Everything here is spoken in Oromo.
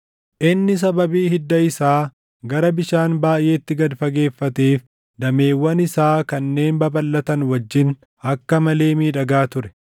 Inni sababii hidda isaa gara bishaan baayʼeetti gad fageeffateef, dameewwan isaa kanneen babalʼatan wajjin akka malee miidhagaa ture.